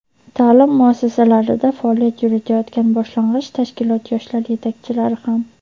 ta’lim muassasalarida faoliyat yuritayotgan boshlang‘ich tashkilot yoshlar yetakchilari ham.